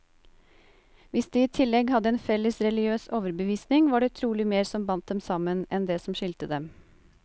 Hvis de i tillegg hadde en felles religiøs overbevisning, var det trolig mer som bandt dem sammen, enn det som skilte dem.